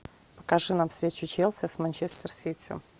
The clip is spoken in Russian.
покажи нам встречу челси с манчестер сити